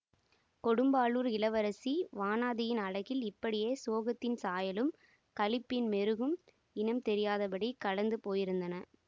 கொடும்பாளூர் இளவரசி வானதியின் அழகில் இப்படியே சோகத்தின் சாயலும் களிப்பின் மெருகும் இனம் தெரியாதபடி கலந்து போயிருந்தன